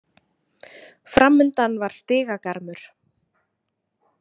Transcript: Framundan var stigagarmur.